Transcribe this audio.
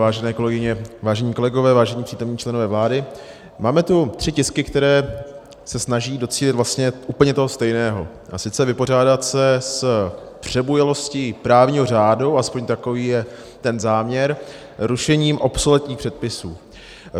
Vážené kolegyně, vážení kolegové, vážení přítomní členové vlády, máme tu tři tisky, které se snaží docílit vlastně úplně toho stejného, a sice vypořádat se s přebujelostí právního řádu - alespoň takový je ten záměr - rušením obsoletních předpisů.